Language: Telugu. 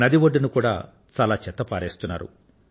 నడి ఒడ్డున కూడా చాలా చెత్తను పారబోస్తున్నారు